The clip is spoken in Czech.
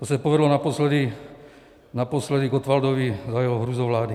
To se povedlo naposledy Gottwaldovi za jeho hrůzovlády.